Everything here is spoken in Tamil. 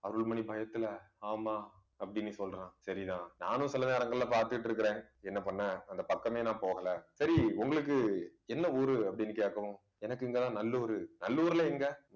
அருள்மணி பயத்துல ஆமா அப்படின்னு சொல்றான் சரிதான். நானும் சில நேரங்கள்ல பாத்துட்டு இருக்குறேன். என்ன பண்ண அந்த பக்கமே நான் போகலை. சரி உங்களுக்கு என்ன ஊரு அப்படின்னு கேக்கணும். எனக்கு இங்கதான் நல்லூர் நல்லூர்ல எங்க